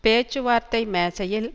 பேச்சுவார்த்தை மேசையில்